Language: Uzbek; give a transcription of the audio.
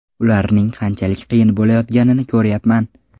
Ularga qanchalik qiyin bo‘layotganini ko‘ryapman.